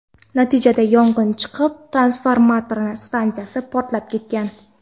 Natijada yong‘in chiqib, transformator stansiyasi portlab ketgan.